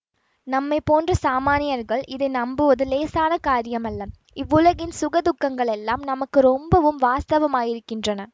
நம்மை போன்ற சாமான்யர்கள் இதை நம்புவது இலேசான காரியமல்ல இவ்வுலகின் சுக துக்கங்களெல்லாம் நமக்கு ரொம்பவும் வாஸ்தவமாயிருக்கின்றன